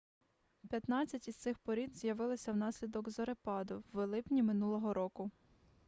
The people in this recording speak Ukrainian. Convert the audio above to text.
п'ятнадцять із цих порід з'явилися внаслідок зорепаду в липні минулого року